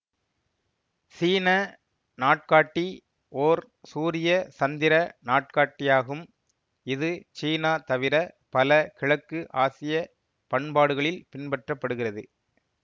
சீன நாட்காட்டி ஓர் சூரியசந்திர நாட்காட்டியாகும் இது சீனா தவிர பல கிழக்கு ஆசிய பண்பாடுகளில் பின்பற்ற படுகிறது